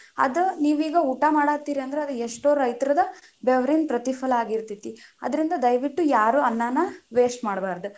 ಅದ ನೀವೀಗ ಊಟಾ ಮಾಡತೀರಿ ಅಂದ್ರ ಅದು ಎಷ್ಟೋ ರೈತರದ್ದ್ ಬೆವರಿನ ಪ್ರತಿಫಲ ಆಗಿರ್ತೇತಿ, ಅದ್ರಿಂದ ದಯವಿಟ್ಟು ಯಾರು ಅನ್ನಾನ waste ಮಾಡಬಾರದ.